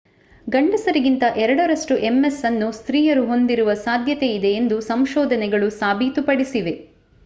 ಗಂಡಸರಿಗಿಂತ ಎರಡರಷ್ಟು ms ಅನ್ನು ಸ್ತ್ರೀಯರು ಹೊಂದಿರುವ ಸಾಧ್ಯತೆಯಿದೆ ಎಂದು ಸಂಶೋಧನೆಗಳು ಸಾಬೀತುಪಡಿಸಿವೆ